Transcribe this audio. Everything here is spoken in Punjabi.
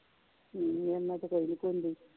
ਹਮ ਮੇਰੇ ਨਾ ਤੇ ਕੋਈ ਨਹੀਂ ਕੂਦੀ